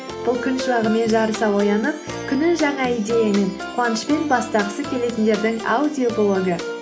бұл күн шуағымен жарыса оянып күнін жаңа идеямен қуанышпен бастағысы келетіндердің аудиоблогы